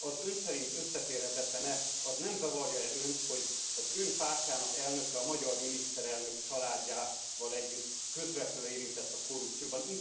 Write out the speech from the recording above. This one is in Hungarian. Ön szerint összeférhetetlen e, nem zavarja e önt, hogy az ön pártjának elnöke, a magyar miniszterelnök, családjával együtt közvetlenül érintett a korrupcióban?